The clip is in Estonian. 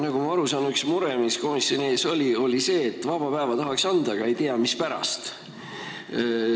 Nagu ma aru saan, üks mure, mis komisjoni ees oli, oli see, et vaba päeva tahaks anda, aga ei tea, mispärast.